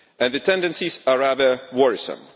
The tendencies are rather worrisome.